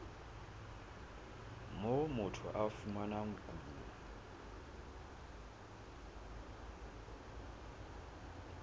moo motho a fumanang kuno